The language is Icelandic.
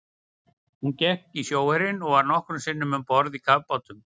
Hún gekk í sjóherinn og var nokkrum sinnum um borð í kafbátum.